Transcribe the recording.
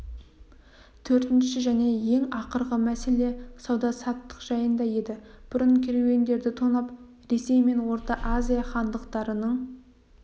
төртінші және ең ақырғы мәселе сауда-саттық жайында еді бұрын керуендерді тонап ресей мен орта азия хандықтарының